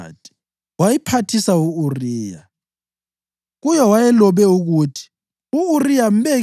Ekuseni uDavida walobela uJowabi incwadi wayiphathisa u-Uriya.